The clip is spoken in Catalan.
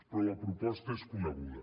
però la proposta és coneguda